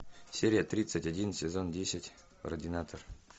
серия тридцать один сезон десять ординатор